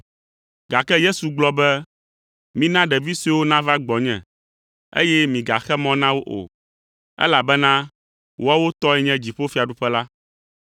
Gake Yesu gblɔ be, “Mina ɖevi suewo nava gbɔnye, eye migaxe mɔ na wo o, elabena woawo tɔe nye dziƒofiaɖuƒe la.”